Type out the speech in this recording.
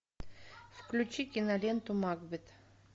включи киноленту макбет